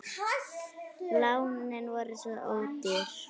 Lánin voru svo ódýr.